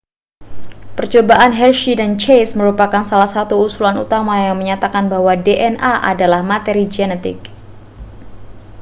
percobaan hershey dan chase merupakan salah satu usulan utama yang menyatakan bahwa dna adalah materi genetik